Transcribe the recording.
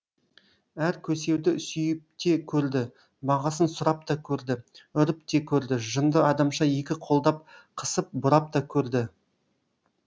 әр көсеуді сүйіпте көрді бағасын сұрап та көрді үріп те көрді жынды адамша екі қолдап қысып бұрап та көрді